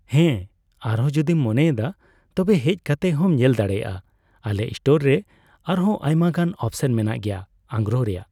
ᱦᱮᱸ ᱟᱨ ᱟᱨᱦᱚᱸ ᱡᱩᱫᱤᱢ ᱢᱚᱱᱮᱭ ᱮᱫᱟ ᱛᱚᱵᱮ ᱦᱮᱡ ᱠᱟᱛᱮᱫ ᱦᱚᱸᱢ ᱧᱮᱞ ᱫᱲᱮᱭᱟᱜᱼᱟ ᱾ ᱟᱞᱮ ᱥᱴᱳᱨ ᱨᱮ ᱟᱨ ᱦᱚᱸ ᱟᱭᱢᱟ ᱜᱟᱱ ᱚᱯᱥᱮᱱ ᱢᱮᱱᱟᱜ ᱜᱮᱭᱟ ᱟᱸᱜᱨᱚᱯ ᱨᱮᱭᱟᱜ ᱾